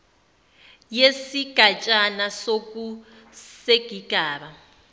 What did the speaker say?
yesigatshana soku sesigaba